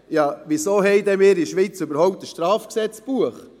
Ja wieso haben wir in der Schweiz denn überhaupt ein Strafgesetzbuch?